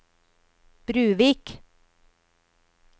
Bruvik